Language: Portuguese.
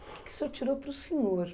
O que que o senhor tirou para o senhor?